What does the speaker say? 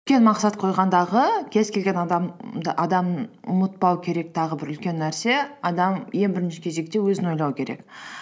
мақсат қойғандағы кез келген адам м адам ұмытпау керек тағы бір үлкен нәрсе адам ең бірінші кезекте өзін ойлау керек